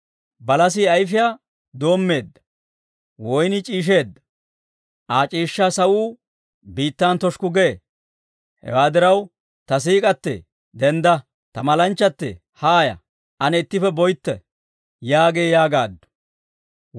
Balasii ayifiyaa doommeedda; woynnii c'iisheedda; Aa c'iishshaa sawuu biittan toshukku gee. Hewaa diraw, ta siik'k'atee, dendda; ta malanchchatee, haaya; ane ittippe boytte yaagee yaagaaddu.